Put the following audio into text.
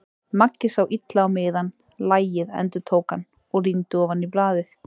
Maggi sá illa á miðann. lagið, endurtók hann og rýndi ofan í blaðið.